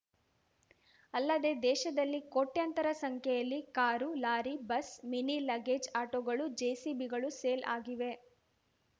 ಅಲ್ಲದೆ ದೇಶದಲ್ಲಿ ಕೋಟ್ಯಂತರ ಸಂಖ್ಯೆಯಲ್ಲಿ car lorry bus mini luggage ಆಟೋಗಳು ಜೆಸಿಬಿಗಳು ಸೇಲ್‌ ಆಗಿವೆ